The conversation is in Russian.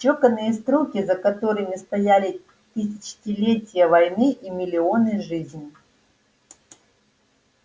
чеканные строки за которыми стояли тысячелетия войны и миллионы жизней